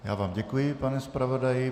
Já vám děkuji, pane zpravodaji.